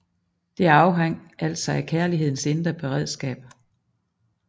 Det afhang altså af kærlighedens indre beredskab